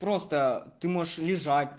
просто ты можешь лежать